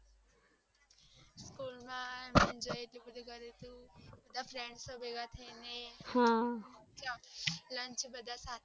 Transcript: બધા friends ભેગા થઈ ને. લંચ બધા સાથે.